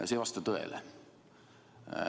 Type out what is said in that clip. See ei vasta tõele.